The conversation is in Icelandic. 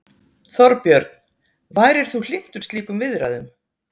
Þorbjörn: Værir þú hlynntur slíkum viðræðum?